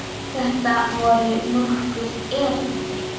Þetta voru nokkur erindi.